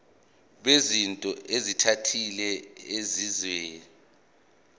bezinto ezithile ezenziwa